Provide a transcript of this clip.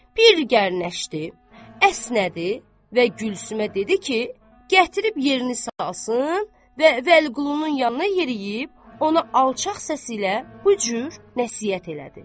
Bir gərnəşdi, əsnədi və Gülsümə dedi ki, gətirib yerini salsın və Vəliqulunun yanına yeriyib ona alçaq səsi ilə bu cür nəsihət elədi.